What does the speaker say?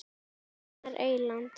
Einar Eyland.